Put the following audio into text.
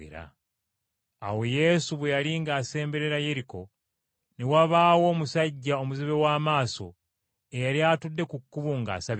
Awo Yesu bwe yali ng’asemberera Yeriko, ne wabaawo omusajja omuzibe w’amaaso eyali atudde ku kkubo ng’asabiriza.